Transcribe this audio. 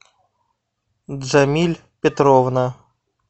джамиль петровна